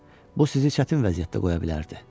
Bu sizi çətin vəziyyətdə qoya bilərdi.